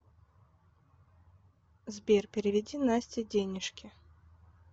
сбер переведи насте денежки